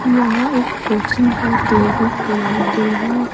यहां एक कोचिंग है तेलगु के नाम तेलेगु --